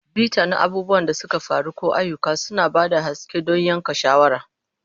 Bita na abubuwan da suka faru ko ayyuka, suna ba da haske don yanke shawara.